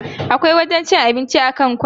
Akwai wajen cin abinci a kan kwana.